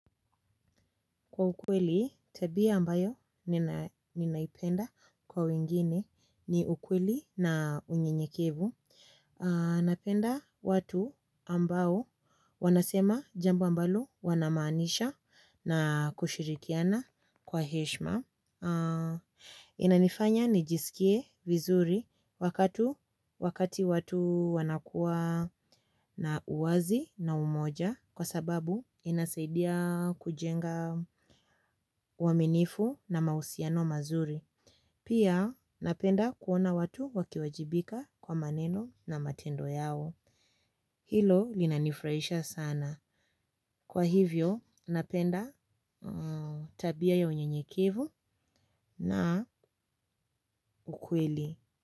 Kwa ukweli, tabia ambayo ninaipenda kwa wengine ni ukweli na unyenyekevu. Napenda watu ambao wanasema jambo ambalo wanamaanisha na kushirikiana kwa heshima. Inanifanya nijiskie vizuri wakati watu wanakua na uwazi na umoja kwasababu inasaidia kujenga waaminifu na mahusiano mazuri. Pia napenda kuona watu wakiwajibika kwa maneno na matendo yao. Hilo linanifurahisha sana. Kwa hivyo napenda tabia ya unyenyekivu na ukweli.